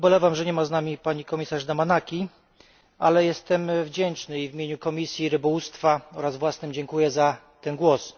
Ubolewam, że nie ma z nami pani komisarz Damanaki, ale jestem jej wdzięczny w imieniu Komisji Rybołówstwa oraz własnym, dziękuję za ten głos.